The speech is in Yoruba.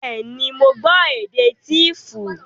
Bẹ́ẹ̀ ni, mo gbọ́ èdè Tíífù